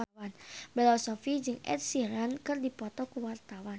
Bella Shofie jeung Ed Sheeran keur dipoto ku wartawan